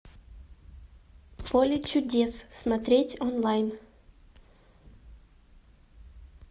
поле чудес смотреть онлайн